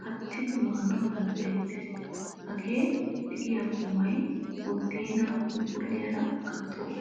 kattidi maanawu danddayettees. Haga de'iya qumay budeenaa phuuphphuliyara gattoogaa.